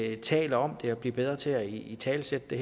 at vi taler om det og bliver bedre til at italesætte det